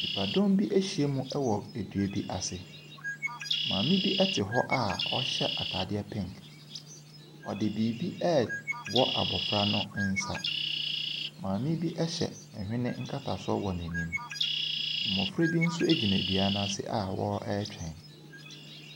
Nnipadɔm bi ahyiam wɔ dua bi ase. Maame bi te hɔ a ɔhyɛ ataadeɛ pink. Ɔde biribi rewɔ abofra no nsa. Maame bi hyɛ nhwene nkatasoɔ wɔ n'anim. Mmofra bi nso gyina dua no ase a wɔretwɛn.